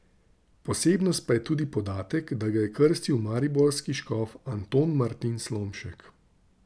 Posebnost pa je tudi podatek, da ga je krstil mariborski škof Anton Martin Slomšek.